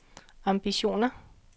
ambitioner